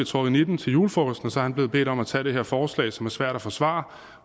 trukket nitten til julefrokosten og så er han blevet bedt om at tage det her forslag som er svært at forsvare